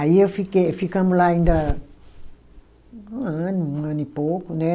Aí eu fiquei, ficamos lá ainda um ano, um ano e pouco, né?